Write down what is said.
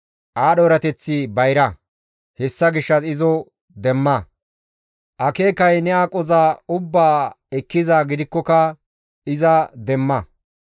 Aadho erateththi bayra; hessa gishshas izo demma. Akeekay ne aqoza ubbaa ekkizaa gidikkoka iza demma.